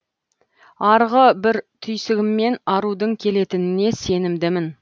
арғы бір түйсігіммен арудың келетініне сенімдімін